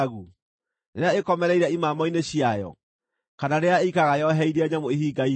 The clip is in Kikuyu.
rĩrĩa ĩkomereire imamo-inĩ ciayo, kana rĩrĩa ĩikaraga yoheirie nyamũ ihinga-inĩ?